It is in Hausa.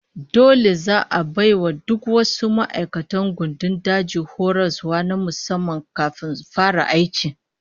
Dole za'a bai wa duk wasu ma'aikatan gandun daji horaswa na musamman kafin su fara aiki